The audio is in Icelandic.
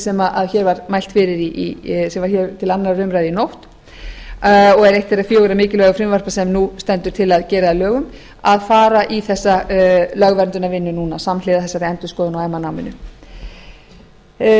sem er í vændum samkvæmt því frumvarpi sem var hér til annarrar umræðu í nótt og er eitt þeirra fjögurra mikilvægu frumvarpa sem nú stendur til að gera að lögum að fara í þessa lögverndunarvinnu núna samhliða þessari endurskoðun á meðal annars náminu